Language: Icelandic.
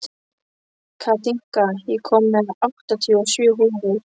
Katinka, ég kom með áttatíu og sjö húfur!